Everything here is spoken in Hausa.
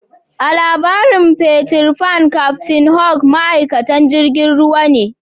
A'labarin Peter Pan captain hook ma'aikatan jirigin ruwa ne.